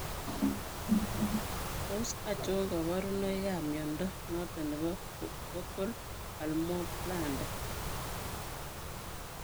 Tos achon kabarunaik ab mnyondo noton nebo Focal palmoplantar